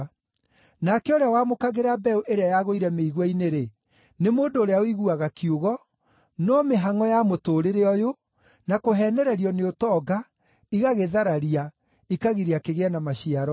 Nake ũrĩa wamũkagĩra mbeũ ĩrĩa yagũire mĩigua-inĩ-rĩ, nĩ mũndũ ũrĩa ũiguaga kiugo, no mĩhangʼo ya mũtũũrĩre ũyũ, na kũheenererio nĩ ũtonga, igagĩthararia, ikagiria kĩgĩe na maciaro.